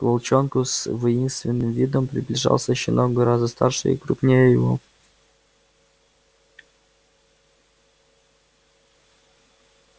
к волчонку с воинственным видом приближался щенок гораздо старше и крупнее его